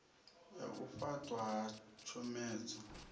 ya u fhaṱwa ha tshomedzo